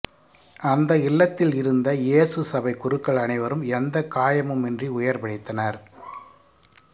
அந்த இல்லத்தில் இருந்த இயேசு சபை குருக்கள் அனைவரும் எந்த காயமும் இன்றி உயிர் பிழைத்தனர்